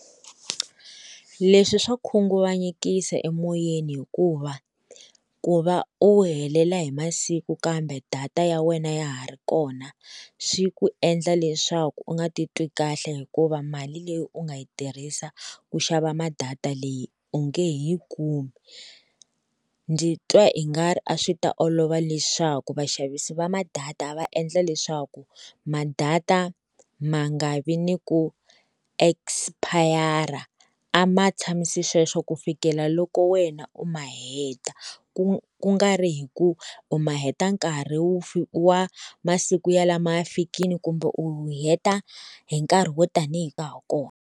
Leswi swa khunguvanyekisa emoyeni hikuva ku va u helela hi masiku kambe data ya wena ya ha ri kona swi ku endla leswaku u nga titwi kahle hikuva mali leyi u nga yi tirhisa ku xava ma-data leyi u nge he yi kumi. Ndzi twa i nga ri a swi ta olova leswaku vaxavisi va ma-data va endla leswaku ma-data ma nga vi ni ku expire a ma tshamisa sweswo ku fikela loko wena u ma heta, ku ku nga ri hi ku u ma heta nkarhi wu wa masiku yalamo ya fikile kumbe u heta hi nkarhi wo tanihi ka ha ri kona.